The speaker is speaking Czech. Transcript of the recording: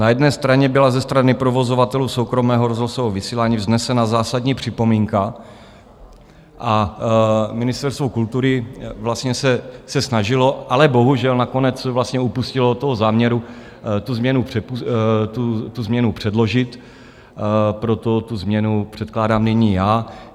Na jedné straně byla ze strany provozovatelů soukromého rozhlasového vysílání vznesena zásadní připomínka a Ministerstvo kultury se snažilo, ale bohužel nakonec upustilo od záměru tu změnu předložit, proto tu změnu předkládám nyní já.